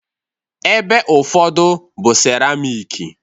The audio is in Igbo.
ebe ụfọdụ bụ seramiki